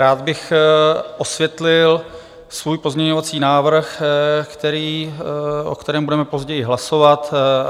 Rád bych osvětlil svůj pozměňovací návrh, o kterém budeme později hlasovat.